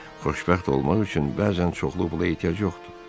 Xoşbəxt olmaq üçün bəzən çoxlu pula ehtiyac yoxdur.